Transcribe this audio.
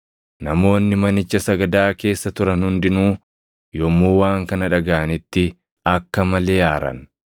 Namoonni manicha sagadaa keessa turan hundinuu yommuu waan kana dhagaʼanitti akka malee aaran.